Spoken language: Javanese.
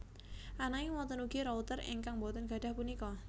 Ananging wonten ugi router ingkang boten gadhah punika